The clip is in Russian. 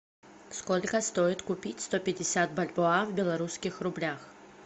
сколько стоит купить сто пятьдесят бальбоа в белорусских рублях